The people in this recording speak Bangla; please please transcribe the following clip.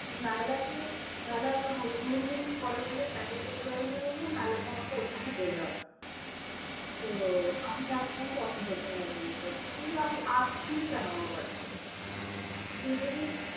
নায়লাকে, নায়লা এতো হাদুম হুদুম করে বলে, tackle করতে পারবে না বলে, নায়লাকে আমাকে ওর সামনে বেঁধে রাখতে হয়। তো আমি একদম পছন্দ করি না জিনসটা। তুই আমি আসবিই কেন আমার বাড়িতে? তুই যদি